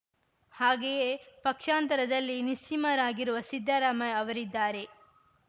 ಹಾಗೆಯೇ ಪಕ್ಷಾಂತರದಲ್ಲಿ ನಿಸ್ಸೀಮರಾಗಿರುವ ಸಿದ್ದರಾಮಯ್ಯ ಅವರಿದ್ದಾರೆ